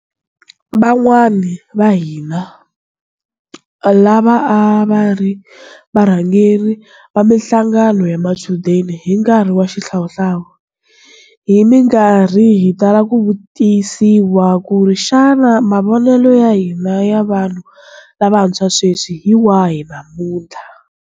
Van'wana vahina lava a va ri varhangeri va mihlangano ya machudeni hi nkarhi wa xihlawuhlawu hi mikarhi hi tala ku vutisiwa ku ri xana mavonelo ya hina ya vanhu lavantshwa sweswi hi wahi namutlha.